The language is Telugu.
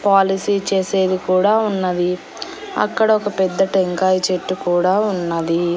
పాలసీ చేసేది కూడా ఉన్నది అక్కడ ఒక పెద్ద టెంకాయ చెట్టు కూడా ఉన్నది.